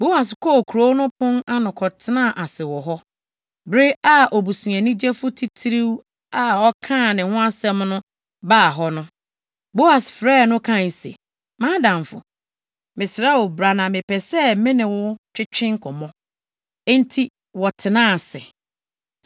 Boas kɔɔ kurow no pon ano kɔtenaa ase wɔ hɔ. Bere a obusuani gyefo titiriw a ɔkaa ne ho asɛm no baa hɔ no, Boas frɛɛ no kae se, “Mʼadamfo, mesrɛ wo bra na mepɛ sɛ me ne wo twetwe nkɔmmɔ.” Enti wɔtenaa ase.